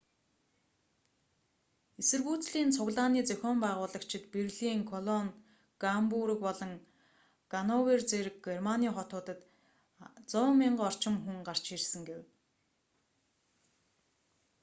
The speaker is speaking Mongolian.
эсэргүүцлийн цуглааны зохион байгуулагчид берлин колон гамбург болон гановер зэрэг германы хотуудад 100,000 орчим хүн гарч ирсэн гэв